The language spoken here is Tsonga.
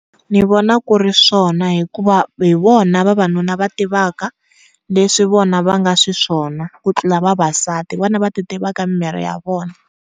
Ni vona ku ri swona hikuva hi vona vavanuna va tivaka leswi vona va nga xiswona ku tlula vavasati hi vona va ti tivaka miri ya vona